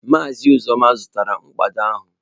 Maazị Uzoma zụtara mkpado ahụ